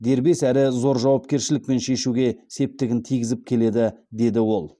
дербес әрі зор жауапкершілікпен шешуге септігін тигізіп келеді деді ол